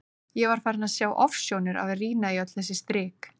Ég var farin að sjá ofsjónir af að rýna í öll þessi strik.